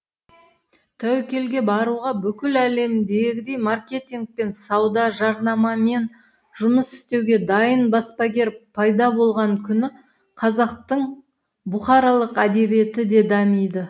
тәуекелге баруға бүкіл әлемдегідей маркетинг пен сауда жарнамамен жұмыс істеуге дайын баспагер пайда болған күні қазақтың бұқаралық әдебиеті де дамиды